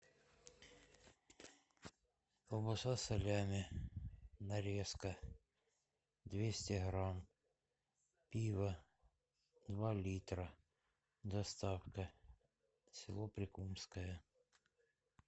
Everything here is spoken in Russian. колбаса салями нарезка двести грамм пиво два литра доставка село прикумское